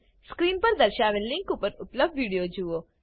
screen પર દર્શાવેલ link પર ઉપલબ્ધ વિડીયો નિહાળો